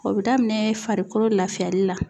O be daminɛ farikolo lafiyali la